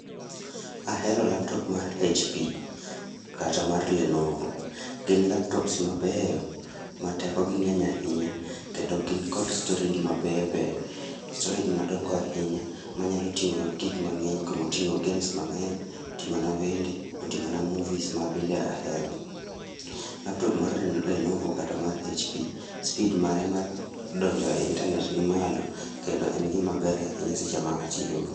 Ahero laptop mar hp kata mar lenovo. Gin laptops mabeyo ma teko gi ng'eny ahinya, kendo gin kod storage mabeyobeyo. storage madongo ahinya, manyalo ting'onwa gik mang'eny kumoting'o games mang'eny, oting'ona wende, oting'o na movies ma bende ahero. Laptop mar lenovo kata mar hp, speed mare mar donjo e internet nimalo, kendo en gimaber ahinya seche ma atiyo go